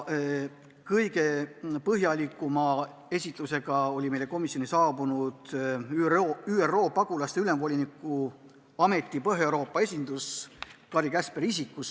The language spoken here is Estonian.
Kõige põhjalikuma esitluse komisjonile tegi aga ÜRO Pagulaste Ülemvoliniku Ameti Põhja-Euroopa esindus Kari Käsperi isikus.